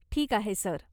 ठीक आहे, सर.